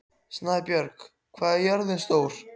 Snæbjörg, hvað er jörðin stór?